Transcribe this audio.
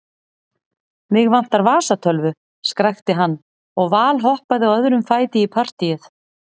Mig vantar vasatölvu, skrækti hann og valhoppaði á öðrum fæti í partýið.